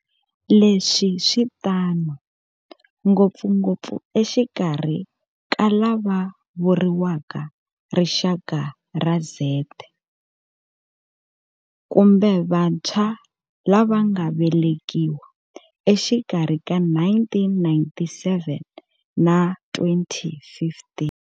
Leswi switano ngopfungopfu exikarhi ka lava vuriwaka Rixaka ra Z, kumbe vantshwa lava nga velekiwa exikarhi ka 1997 na 2015.